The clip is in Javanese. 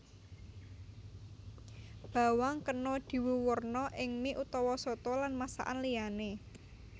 Bawang kena diwuwurna ing mie utawa soto lan masakaan liyané